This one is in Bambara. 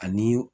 Ani